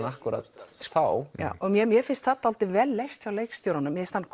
akkúrat þá já mér mér finnst það dálítið vel leyst hjá leikstjóranum mér finnst hann